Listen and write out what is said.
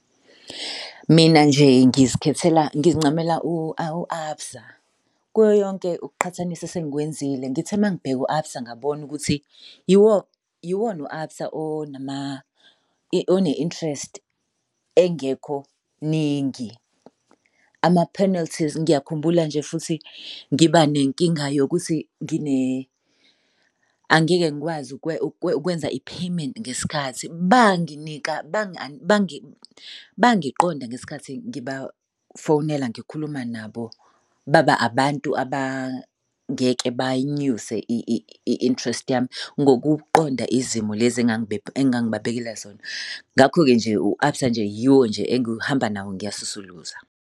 Mina nje ngizikhethela ngincamela awu u-ABSA. Kuyoyonke ukuqhathanisa esengikwenzile ngithe uma ngibheka u-ABSA ngabona ukuthi yiwona u-ABSA one-interest engekho ningi. Ama-penalties ngiyakhumbula nje futhi ngiba nenkinga yokuthi angeke ngikwazi ukwenza i-payment ngesikhathi, banginika bangiqonda ngesikhathi ngibafonela ngikhuluma nabo. Baba abantu abangeke bayinyuse i-interest yami ngokuqonda izimo lezi engangibabekela zona. Ngakho-ke nje u-ABSA nje yiwo nje engihamba nawo ngiyasusuluza.